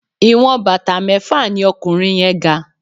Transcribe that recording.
Ìwọ̀n bàtà mẹ́fà ní ọkùnrin yẹ́n ga.